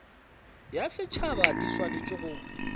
ya setšhaba di swanetše go